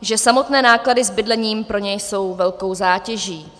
že samotné náklady s bydlením pro ně jsou velkou zátěží.